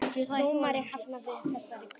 Dómari hafnaði þessari kröfu